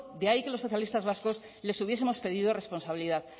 de ahí que los socialistas vascos les hubiesemos pedido responsabilidad